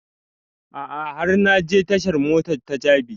A'a har na je tashan mota ta jabi